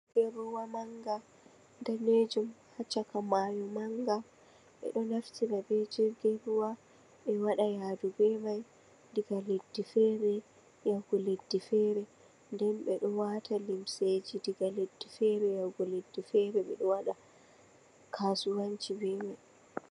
Jirgin ruwa manga danijum ha chaka mayo manga, ɓeɗo naftira be jirgin ruwa ɓe waɗa yadu be mai, daga leddi fere yahugo leddi fere, nden ɓeɗo wata lemseji daga leddi fere yahugo leɗɗe fere, ɓeɗo waɗa kasuwanci be mai.